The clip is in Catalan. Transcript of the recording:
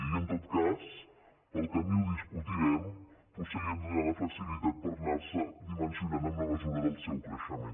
i en tot cas pel camí ho discutirem potser li hem de donar la flexibilitat per anar·se dimensionant a mesura del seu creixement